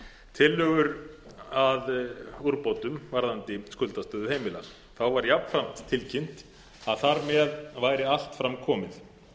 tillögur að úrbótum varðandi skuldastöðu heimila þá var jafnframt tilkynnt að þar með væri allt fram komið